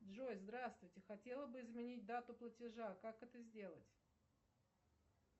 джой здравствуйте хотела бы изменить дату платежа как это сделать